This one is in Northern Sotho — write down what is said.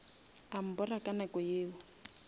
a mbora ka nako yeo